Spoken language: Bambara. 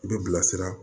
I bɛ bilasira